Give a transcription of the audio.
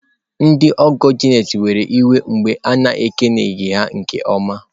Ndị ọgọ Janet were iwe mgbe a na-ekeleghị ha nke ọma.